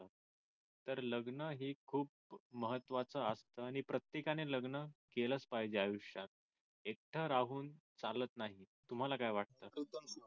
तर लग्न हे खूप महत्वाचं असत हे प्रत्येकाने लग्न केलंच पाहिजे आयुष्यात एकटं राहून चालत नाही तुम्हाला काय वाटत